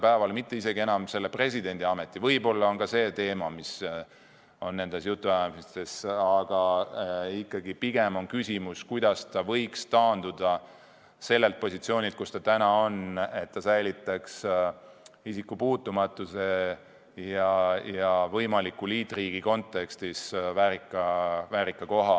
Ma arvan, et ta enam ei looda presidendiametisse jääda, pigem on küsimus, kuidas ta võiks taanduda sellelt positsioonilt, kus ta täna on, nii, et ta säilitaks isikupuutumatuse ja saaks võimaliku liitriigi kontekstis väärika koha.